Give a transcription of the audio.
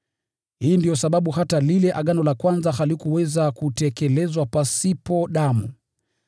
Hii ndiyo sababu hata lile agano la kwanza halikuweza kutekelezwa pasipo damu.